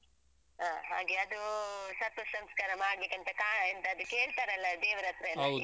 ಹಾ ಹಾಗೆ ಅದೂ ಸರ್ಪಸಂಸ್ಕಾರ ಮಾಡ್ಲಿಕ್ಕಂತ ಕಾಣ್ ಎಂತ ಅದು ಕೇಳ್ತಾರಲ್ಲ ದೇವರತ್ರ ಎಲ್ಲಾ ಈಗೆಲ್ಲ.